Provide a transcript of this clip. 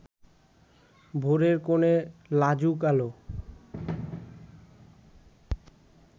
ভোরের কোণে লাজুক আলো